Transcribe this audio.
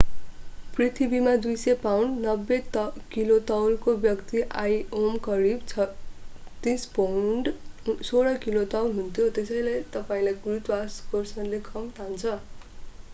पृथ्वीमा 200 pound 90 kilo तौलको व्यक्ति आइओमा करिब 36 पाउण्ड 16 किलो तौल हुन्थ्यो। त्यसैले तपाईंलाई गुरुत्वाकर्षणले कम तान्छ।